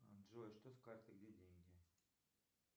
джой что с картой где деньги